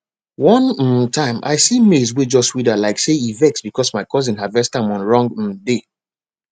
one um time i see maize wey just wither like say e vex because my cousin harvest am on wrong um day